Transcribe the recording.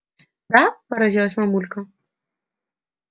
да поразилась мамулька